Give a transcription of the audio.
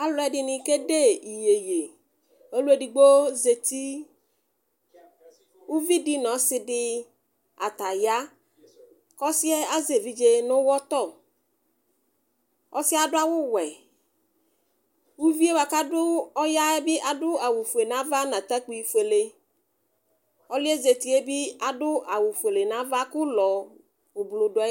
Alʋ ɛdini kede iyeye ɔlʋ edigbo zeti ʋvidi nʋ ɔsidi ataya kʋ ɔsi yɛ azɛ evidze nʋ ʋwɔtɔ ɔsi yɛ adʋ awʋwɛ ʋvi yɛ kʋ ɔya yɛbi adʋ awʋfue nʋ ava nʋ atakpi fuele ɔlʋ yɛ zeti yɛbi adʋ awʋfuele nʋ ava kʋ ʋlɔ dʋ ayili